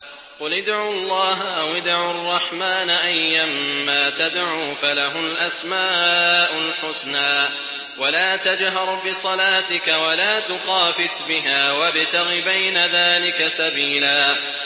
قُلِ ادْعُوا اللَّهَ أَوِ ادْعُوا الرَّحْمَٰنَ ۖ أَيًّا مَّا تَدْعُوا فَلَهُ الْأَسْمَاءُ الْحُسْنَىٰ ۚ وَلَا تَجْهَرْ بِصَلَاتِكَ وَلَا تُخَافِتْ بِهَا وَابْتَغِ بَيْنَ ذَٰلِكَ سَبِيلًا